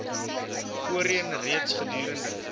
voorheen reeds gedurende